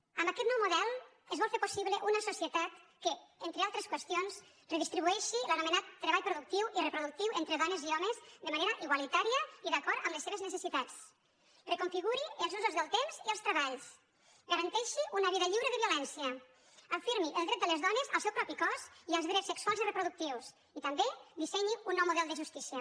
amb aquest nou model es vol fer possible una societat que entre altres qüestions redistribueixi l’anome·nat treball productiu i reproductiu entre dones i ho·mes de manera igualitària i d’acord amb les seves ne·cessitats reconfiguri els usos del temps i els treballs garanteixi una vida lliure de violència afirmi el dret de les dones al seu propi cos i als drets sexuals i re·productius i també dissenyi un nou model de justícia